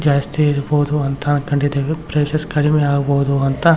ಜಾಸ್ತಿ ಇರ್ಬೋದು ಅಂತ ಕಂಡಿದಿವಿ ಪ್ರೈಸ್ ಕಡಿಮೆ ಆಗ್ಬಹುದು ಅಂತ --